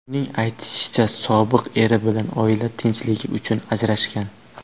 Uning aytishicha, sobiq eri bilan oila tinchligi uchun ajrashgan.